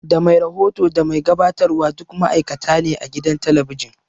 Da mai rahoto da mai gabatarwa duk ma'aikata ne a gidan talabijin